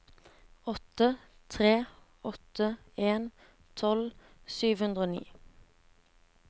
åtte tre åtte en tolv sju hundre og ni